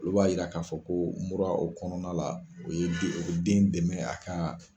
Olu b'a yira k'a fɔ, ko mura o kɔnɔna la, o ye den o bi den dɛmɛ a ka